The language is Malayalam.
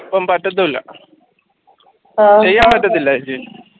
ഇപ്പൊ പറ്റത്തില്ല ചെയ്യാൻ പറ്റത്തില്ല